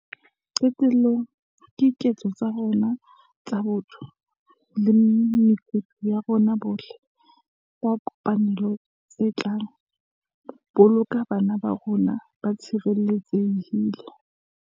Qetellong, ke diketso tsa rona tsa botho le mekutu ya rona bohle ka kopanelo tse tla boloka bana ba rona ba tshireletsehile.